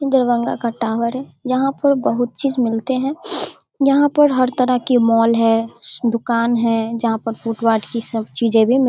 दरभंगा का टावर है। यहाँ पर बहुत चीज मिलते हैं। यहाँ पर हर तरह के मॉल है दूकान है। जहाँ पर फुटपाथ की सब चीजे भी मी --